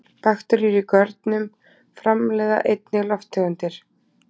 Bakteríur í görnunum framleiða einnig lofttegundir.